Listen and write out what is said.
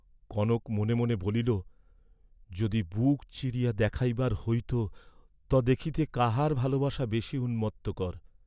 কনক মনে মনে বলিল, "যদি বুক চিরিয়া দেখাইবার হইত ত দেখিতে কাহার ভালবাসা বেশী উন্মত্তকর?"